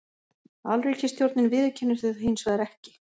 Alríkisstjórnin viðurkennir þau hins vegar ekki